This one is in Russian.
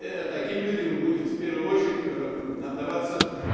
таким людям будет в первую очередь отдаваться